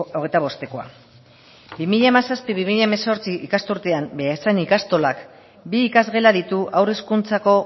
hogeita bostekoa bi mila hamazazpi bi mila hemezortzi ikasturtean beasain ikastolak bi ikasgela ditu haur hezkuntzako